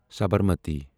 Sabarmati